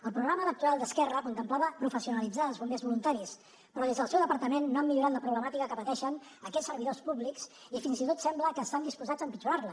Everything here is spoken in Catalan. el programa electoral d’esquerra contemplava professionalitzar els bombers voluntaris però des del seu departament no han millorat la problemàtica que pateixen aquests servidors públics i fins i tot sembla que estan disposats a empitjorar la